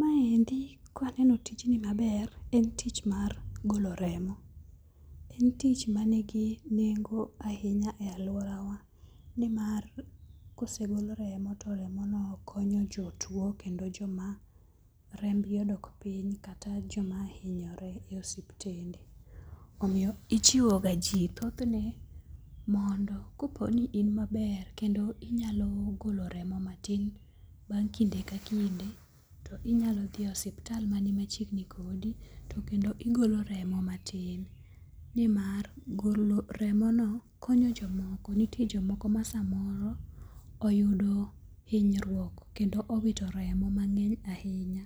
Maendi kaneno tijni maber en tich mar golo remo. En tich manigi nengo ahinya e aluora wa nimar kosegol remo to remo no konyo jotuo kendo joma rembgi odok piny kata joma hinyore e osiptende. Omiyo ichiwo ga ji thoth ne mondo kopo ni in maber kendo inyalo golo remo matin bang' kinde ka kinde to inyalo dhi e osiptal machiegni kodi to igolo remo matin. Nimar golo remono konyo jomoko ma samoro oyudo hinyruok kendo owito remo mang'eny ahinya